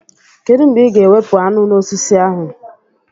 Kedụ mgbe ị ga-ewepụ aṅụ n'osisi ahụ?